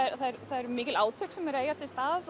eru mikil átök sem eiga sér stað